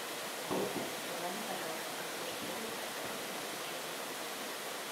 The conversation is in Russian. ассистент позвони пожалуйста в консьерж сервис и попроси принести чайник